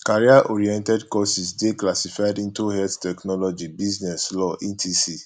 career oriented courses de classified into health technology business law etc